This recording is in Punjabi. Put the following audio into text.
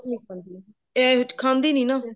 south ਨਹੀਂ ਖਾਂਦੀ ਉਹ ਇਹ ਖਾਂਦੀ ਨੀ ਨਾ